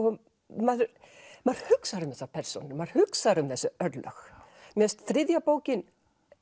maður hugsar um þessar persónur maður hugsar um þessi örlög mér finnst þriðja bókin